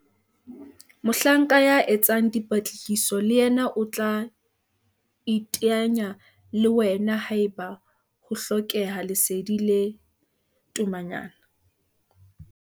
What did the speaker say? Mohlanka ya etsang dipatlisiso le yena o tla iteanya le wena haeba ho hlokeha lesedi le tomanyana.